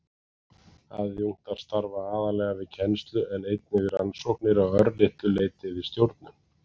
Aðjúnktar starfa aðallega við kennslu en einnig við rannsóknir og að örlitlu leyti við stjórnun.